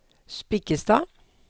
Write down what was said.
Spikkestad